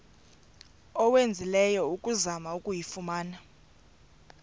owenzileyo ukuzama ukuyifumana